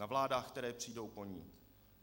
Na vládách, které přijdou po ní.